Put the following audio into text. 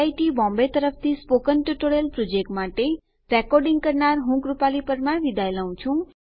IIT Bombay તરફથી spoken tutorial project માટે ભાષાંતર કરનાર હું જ્યોતી સોલંકી વિદાય લઉં છું